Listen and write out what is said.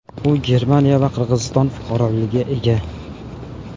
U Germaniya va Qirg‘iziston fuqaroligiga ega.